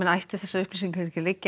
ættu þessar upplýsingar ekki að liggja